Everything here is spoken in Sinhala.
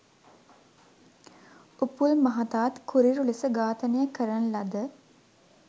උපුල් මහතාත් කුරිරු ලෙස ඝාතනය කරන ලද